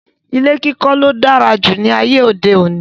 Ilé kíkó ló dára jù láyé òde òní